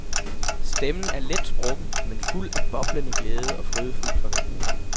Stemmen er let sprukken, men fuld af boblende glæde og frydefuld forventning.